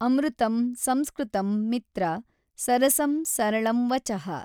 ಅಮೃತಮ್ ಸಂಸ್ಕೃತಮ್ ಮಿತ್ರ, ಸರಸಮ್ ಸರಳಮ್ ವಚಃ